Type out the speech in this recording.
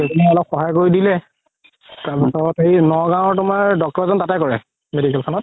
গৈ পিনে অলপ সহায় কৰি দিলে তাৰ পিছত নগাওৰ তুমাৰ doctor এজন তাতে কৰে medical খনত